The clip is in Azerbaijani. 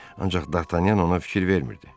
Ancaq Dartanyan ona fikir vermirdi.